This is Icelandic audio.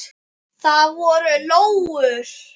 Það voru lóur.